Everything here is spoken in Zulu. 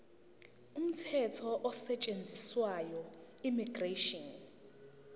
umthetho osetshenziswayo immigration